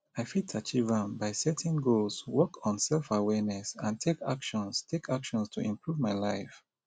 i fit achieve am by setting goals work on selfawareness and take actions take actions to improve my life